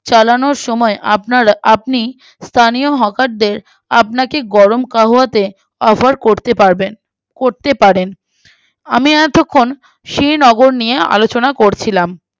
চালানোর সময়ে আপনারা আপনি স্থানীয় Hawker দের আপনাকে গরম কাওয়াতে offer করতে পারবেন করতে পারেন আমি এতক্ষণ শ্রীনগর নিয়ে আলোচনা করছিলাম